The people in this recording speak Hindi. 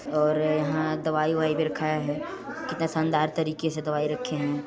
और यहाँ दवाई अवाई भी रखा है कितना शानदार तरीके से दवाई रखें है।